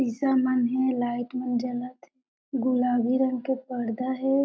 शीशा मन हे लाइट मन जलत हे गुलाबी रंग के पर्दा हे।